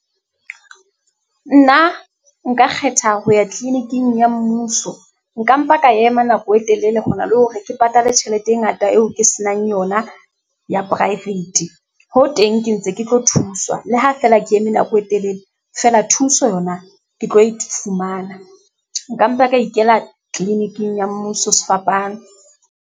Nna nka kgetha ho ya clinic-ing ya mmuso. Nka mpa ka ema nako e telele ho na le hore ke patale tjhelete e ngata eo ke se nang yona ya private, ho teng ke ntse ke tlo thuswa le ha fela ke eme nako e telele fela thuso yona ke tlo ifumana. Nka mpa ka ikela clinic-ing ya mmuso sefapano.